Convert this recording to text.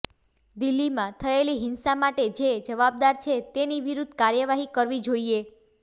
દિલ્હીમાં થયેલી હિંસા માટે જે જવાબદાર છે તેની વિરૂદ્ઘ કાર્યવાહી કરવી જોઈએ